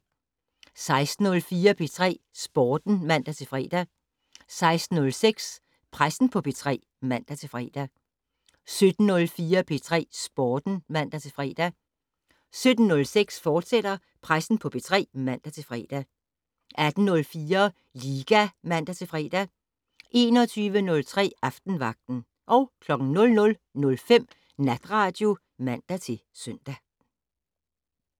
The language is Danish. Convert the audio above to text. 16:04: P3 Sporten (man-fre) 16:06: Pressen på P3 (man-fre) 17:04: P3 Sporten (man-fre) 17:06: Pressen på P3, fortsat (man-fre) 18:04: Liga (man-fre) 21:03: Aftenvagten 00:05: Natradio (man-søn)